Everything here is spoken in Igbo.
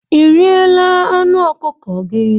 Ị riela anụ ọkụkọ gị?